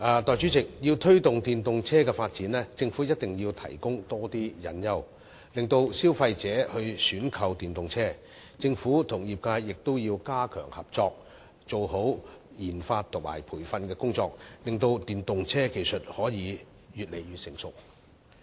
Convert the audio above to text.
代理主席，要推動電動車發展，政府一定要提供多些誘因，令消費者選購電動車；政府與業界亦必須加強合作，做好研發和培訓工作，使電動車技術可以越來越成熟。